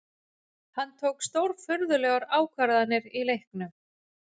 Hann tók stórfurðulegar ákvarðanir í leiknum